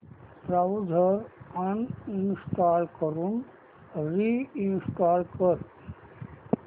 browser uninstall करून reinstall कर